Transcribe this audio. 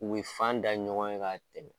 U bɛ ye fan da ɲɔgɔn ɲɛ ka tɛmɛ